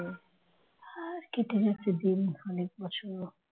আর কেটে যাচ্ছে দিন অনেক বছর